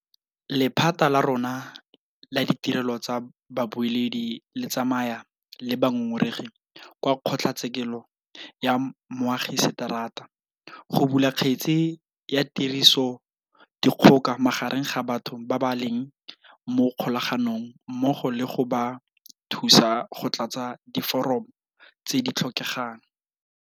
Lephata la rona la ditirelo tsa bobueledi le tsamaya le bangongoregi kwa kgotlatshekelo ya moagiseterata go bula kgetse ya tirisodikgoka magareng ga batho ba ba leng mo kgolaganong mmogo le go ba thusa go tlatsa diforomo tse di tlhokegang.